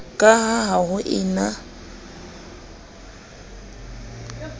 ka ha ho e na